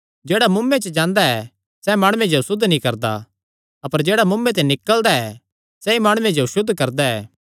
जेह्ड़ा मुँऐ च जांदा ऐ सैह़ माणुये जो असुद्ध नीं करदा अपर जेह्ड़ा मुँऐ ते निकल़दा ऐ सैई माणुये जो असुद्ध करदा ऐ